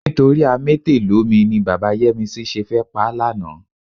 Nítorí amétèlómi ni bàbá Yẹ́misí ṣe fẹ́ pa á lánàá.